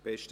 Besten